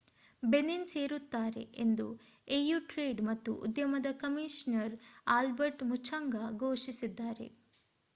Benin ಸೇರುತ್ತಾರೆ ಎಂದು AU trade ಮತ್ತು ಉದ್ಯಮದ ಕಮಿಷನರ್ ಆಲ್ಬರ್ಟ್ ಮುಚಂಗಾ ಘೋಷಿಸಿದ್ದಾರ